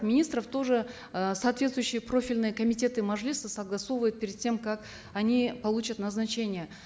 министров тоже э соответствующие профильные комитеты мажилиса согласовывают перед тем как они получат назначение